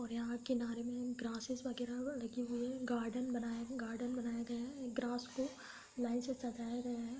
और यहाँ किनारे मे ग्रैसेस वगेरा लगी हुई है। गार्डेन बना गार्डेन बनाए गए हैं। ग्रास को लाइन से सजाये गए हैं।